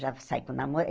Já sai com namo eh